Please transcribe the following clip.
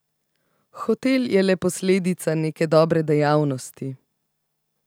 Hotel je le posledica neke dobre dejavnosti.